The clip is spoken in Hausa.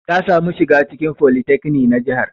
Ta samu shiga cikin folytekni na jihar.